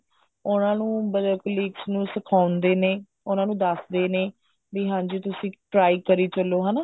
ਉਹਨਾ ਨੂੰ ਮਤਲਬ colleagues ਨੂੰ ਸਿਖਾਉਂਦੇ ਵੀ ਨੇ ਉਹਨਾ ਨੂੰ ਦਸਦੇ ਵੀ ਨੇ ਵੀ ਹਾਂਜ਼ੀ ਤੁਸੀਂ try ਕਰੀ ਚੱਲੋ ਹਨਾ